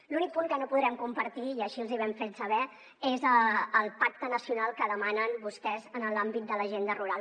l’únic punt que no podrem compartir i així els ho vam fer saber és el pacte nacional que demanen vostès en l’àmbit de l’agenda rural